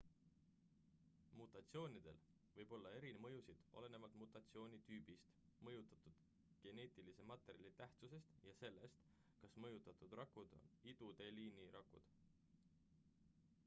mutatsioonidel võib olla eri mõjusid olenevalt mutatsiooni tüübist mõjutatud geneetilise materjali tähtsusest ja sellest kas mõjutatud rakud on iduteeliini rakud